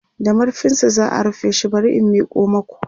da marfinsa za'a rufe shi bari in Miko maku